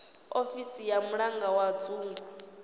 ofisi ya mulangi wa dzingu